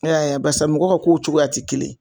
E y'a ye a baarisa mɔgɔw ka ko cogoya tɛ kelen ye.